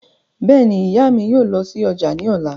Bẹ́ẹ̀ni, ìyá mi yóò lọ sí ọjà ní ọ̀la